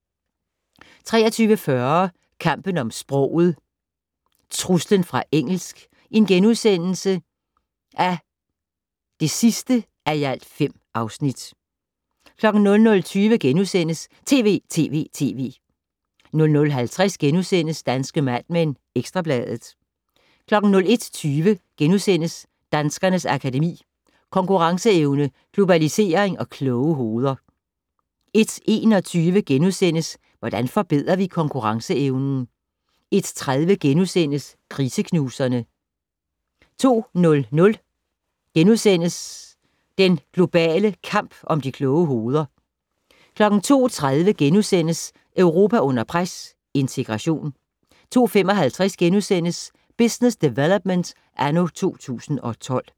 23:40: Kampen om sproget - Truslen fra engelsk (5:5)* 00:20: TV!TV!TV! * 00:50: Danske Mad Men: Ekstra Bladet * 01:20: Danskernes Akademi: Konkurenceevne, globalisering og kloge hoveder * 01:21: Hvordan forbedrer vi konkurrenceevnen? * 01:30: Kriseknuserne * 02:00: Den globale kamp om de kloge hoveder * 02:30: Europa under pres - integration * 02:55: Business Development anno 2012 *